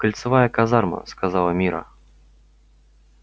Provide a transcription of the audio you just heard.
кольцевая казарма сказала мирра